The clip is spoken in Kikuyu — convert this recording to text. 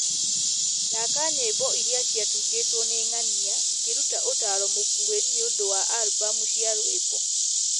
thaaka nyĩmbo ĩria ciatungĩtwo nĩ ng'ania akĩruta ũtaaro mũkũhĩ nĩ ũndũ wa albumu cia rwĩmbo